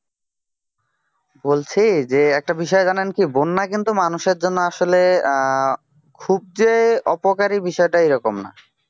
বলছি যে একটা বিষয় জানেন কি বন্যা কিন্তু মানুষের জন্য আসলে খুব যে অপকারী বিষয়টা এরকম না